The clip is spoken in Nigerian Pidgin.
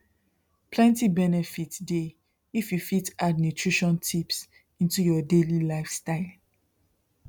plenty benefit dey if you fit add nutrition tips into your daily lifestyle